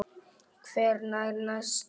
Hver er næstur?